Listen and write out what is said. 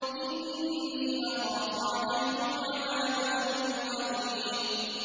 إِنِّي أَخَافُ عَلَيْكُمْ عَذَابَ يَوْمٍ عَظِيمٍ